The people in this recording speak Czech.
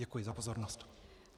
Děkuji za pozornost.